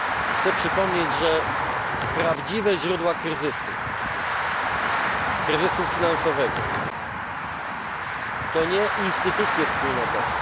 Chcę przypomnieć, że prawdziwe źródła kryzysu, kryzysu finansowego, to nie instytucje wspólnotowe.